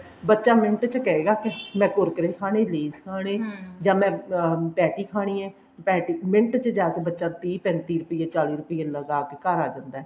ਬੱਚਾ ਮਿੰਟ ਚ ਕਹੇਗਾ ਮੈਂ kurkure ਖਾਨੇ lays ਖਾਨੇ ਜਾਂ ਮਾਂ patty ਖਾਣੀ ਏ ਮਿੰਟ ਚ ਬੱਚਾ ਤੀਹ ਪੈਂਤੀ ਰੁਪਏ ਚਾਲੀ ਰੁਪਏ ਲਗਾ ਕੇ ਘਰ ਆ ਜਾਂਦਾ